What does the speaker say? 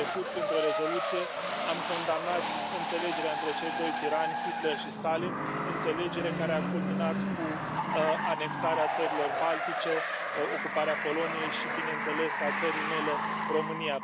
Anul trecut, printr o rezoluție, am condamnat înțelegerea dintre cei doi tirani, Hitler și Stalin, înțelegere care a culminat cu anexarea Țărilor Baltice, ocuparea Poloniei și, bineînțeles, a țării mele, România.